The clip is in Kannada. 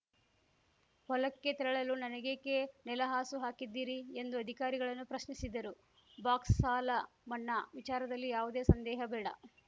ಹೊಲಕ್ಕೆ ತೆರಳಲು ನನಗೇಕೆ ನೆಲಹಾಸು ಹಾಕಿದ್ದೀರಿ ಎಂದು ಅಧಿಕಾರಿಗಳನ್ನು ಪ್ರಶ್ನಿಸಿದರು ಬಾಕ್ಸ್‌ ಸಾಲ ಮನ್ನಾ ವಿಚಾರದಲ್ಲಿ ಯಾವುದೇ ಸಂದೇಹ ಬೇಡ